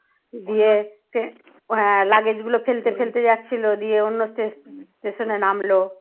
ও হ্যাঁ luggage গুলো ফেলতে ফেলতে যাচ্ছিল যে দিয়ে অন্য station এ নামল